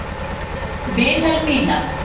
Vilhelmína